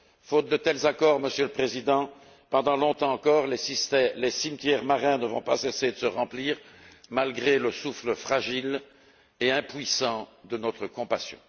Faute de tels accords, Monsieur le Président, pendant longtemps encore les cimetières marins ne vont pas cesser de se remplir, malgré le souffle fragile et impuissant de notre compassion.